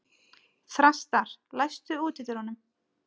Þrastar, læstu útidyrunum.